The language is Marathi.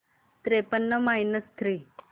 त्रेपन्न मायनस थ्री